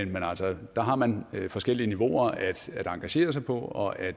men altså der har man forskellige niveauer at engagere sig på og at